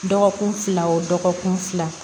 Dɔgɔkun fila o dɔgɔkun fila